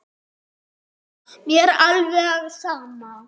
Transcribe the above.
Mér er alveg sama